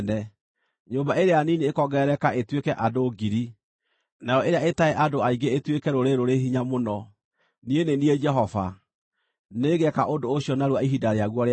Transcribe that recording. Nyũmba ĩrĩa nini ĩkongerereka ĩtuĩke andũ ngiri, nayo ĩrĩa ĩtarĩ andũ aingĩ ĩtuĩke rũrĩrĩ rũrĩ hinya mũno. Niĩ nĩ niĩ Jehova. Nĩngeeka ũndũ ũcio narua ihinda rĩaguo rĩakinya.”